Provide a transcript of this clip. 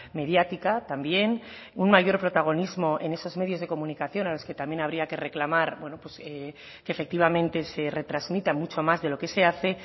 mediática también un mayor protagonismo en esos medios de comunicación a los que también habría que reclamar que efectivamente se retransmita mucho más de lo que se hace